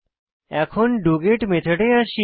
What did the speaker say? এখন ডগেট মেথডে আসি